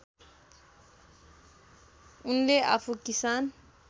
उनले आफू किसान